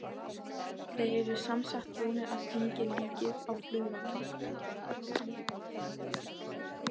Þeir eru semsagt búnir að tengja líkið á flugvallar